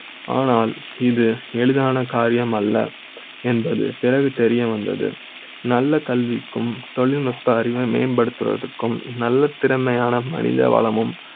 ஆனால் இது எளிதான காரியம். அல்ல என்பது பிறகு தெரிய வந்தது நல்ல கல்வி க்கும் தொழில்நுட்ப அறிவை மேம்படுத்துவதற்கும் நல்ல திறமையான மனித வள மும்